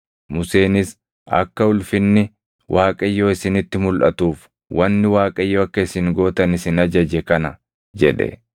Museenis, “Akka ulfinni Waaqayyoo isinitti mulʼatuuf wanni Waaqayyo akka isin gootan isin ajaje kana” jedhe.